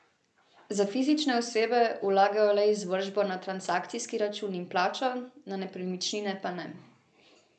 Za fizične osebe vlagajo le izvršbo na transakcijski račun in plačo, na nepremičnine pa ne.